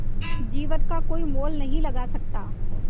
जीवन का कोई मोल नहीं लगा सकता